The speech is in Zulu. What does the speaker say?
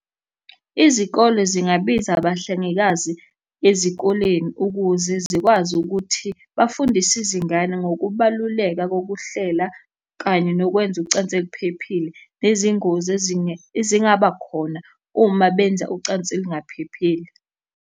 Izikole zingabiza abahlengikazi ezikoleni ukuze zikwazi ukuthi bafundise izingane ngokubaluleka kokuhlela kanye nokwenza ucansi oluphephile, nezingozi ezingaba khona uma benza ucansi olungaphephile.